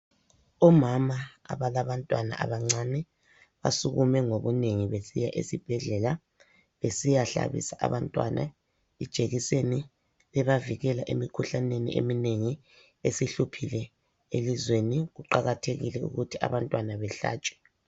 Omama abalabantwana abancane basukume ngobunengi besiya esibhedlela besiyahlabisa abantwana ijekiseni ebavikela emikhuhlaneni eminengi esihluphile elizweni. Kuqakathekile ukuthi abantwana behlatshwe.